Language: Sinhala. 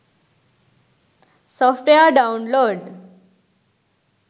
software download